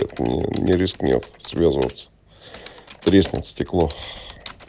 не рискнёт связываться треснуть стекло